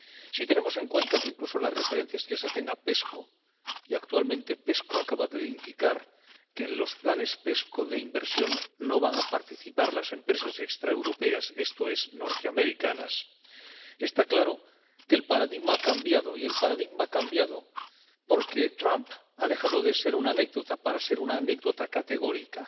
Si tenemos en cuenta incluso las referencias que se hacen a la CEP y que actualmente la CEP acaba de indicar que en los planes CEP de inversión no van a participar las empresas extraeuropeas, esto es, norteamericanas, está claro que el paradigma ha cambiado, y el paradigma ha cambiado porque Trump ha dejado de ser una anécdota para ser una anécdota categórica.